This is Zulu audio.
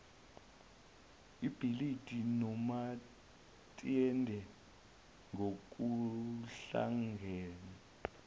ibhilidi nomaitende ngokuhlangene